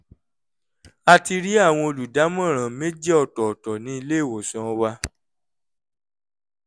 a ti rí àwọn olùdámọ̀ràn méjì ọ̀tọ̀ọ̀tọ̀ ní ilé ìwòsàn wa